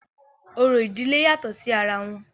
orò ìdílé yàtọ̀ sí ara wọn